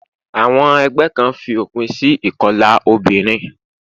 Àwon egbé Kan fi òpin si ìkolà obìnrin